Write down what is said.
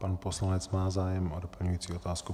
Pan poslanec má zájem o doplňující otázku.